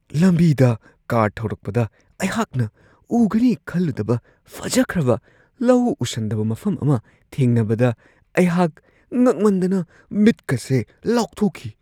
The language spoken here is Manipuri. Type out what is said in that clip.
ꯂꯝꯕꯤꯗ ꯀꯥꯔ ꯊꯧꯔꯛꯄꯗ ꯑꯩꯍꯥꯛꯅ ꯎꯒꯅꯤ ꯈꯜꯂꯨꯗꯕ ꯐꯖꯈ꯭ꯔꯕ ꯂꯧ ꯎꯁꯟꯗꯕ ꯃꯐꯝ ꯑꯃ ꯊꯦꯡꯅꯕꯗ ꯑꯩꯍꯥꯛ ꯉꯛꯃꯟꯗꯅ ꯃꯤꯠꯀꯁꯦ ꯂꯥꯎꯊꯣꯛꯈꯤ ꯫